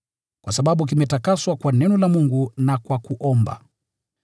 kwa sababu kimetakaswa kwa neno la Mungu na kwa kuomba.